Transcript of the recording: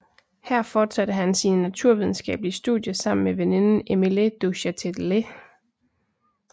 Her fortsatte han sine naturvidenskabelige studier sammen med veninden Émilie du Châtelet